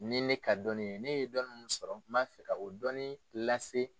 Ni ne ka dɔnni ye, ne ye dɔnni min sɔrɔ, n b'a fɛ ka o dɔɔni lase.